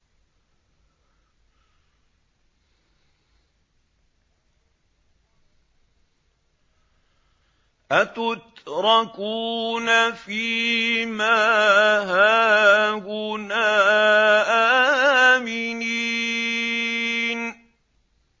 أَتُتْرَكُونَ فِي مَا هَاهُنَا آمِنِينَ